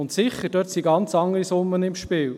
Dort sind sicher ganz andere Summen im Spiel.